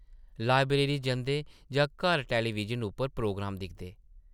Library जंदे जां घर टैलीविज़न उप्पर प्रोग्राम दिखदे ।